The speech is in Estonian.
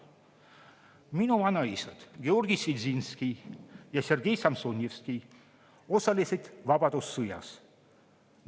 Minu vanaisad Georgi Svidzinski ja Sergei Samsonjevski osalesid vabadussõjas.